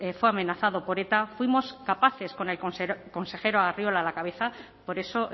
fue amenazado por eta fuimos capaces con el consejero arriola a la cabeza por eso